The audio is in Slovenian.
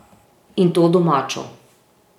In to domačo.